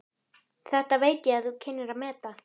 Þetta veit ég þú kynnir að meta.